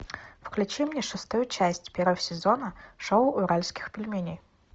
включи мне шестую часть первого сезона шоу уральских пельменей